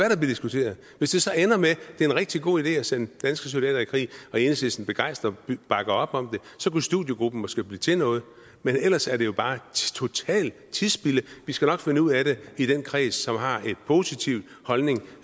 diskuteret hvis det så ender med at det er en rigtig god idé at sende danske soldater i krig og enhedslisten begejstret bakker op om det så kunne studiegruppen måske blive til noget men ellers er det jo bare et totalt tidsspilde vi skal nok finde ud af det i den kreds som har en positiv holdning